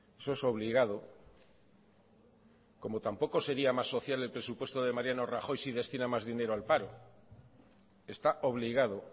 eso es obligado como tampoco sería más social el presupuesto de mariano rajoy si destina más dinero al paro está obligado